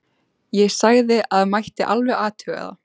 Ég sagði að það mætti alveg athuga það.